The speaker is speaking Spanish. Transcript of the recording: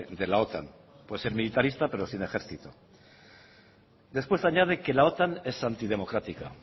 de la otan puede ser militarista pero sin ejército después añade que la otan es antidemocrática